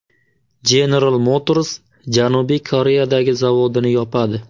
General Motors Janubiy Koreyadagi zavodini yopadi.